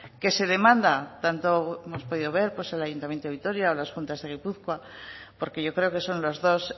que se demanda tanto como hemos podido ver en el ayuntamiento de vitoria o las juntas de gipuzkoa porque yo creo que son los dos